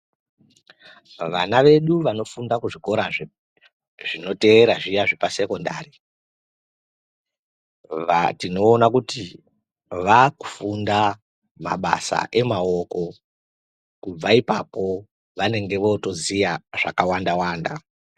Vana vedu vanofunda kuzvikora zvinoteerera zviya zveksekondari tinoona kuti vakufunda mabasa emaoko kubva ipapo vanenge veiziva zvakawanda wanda.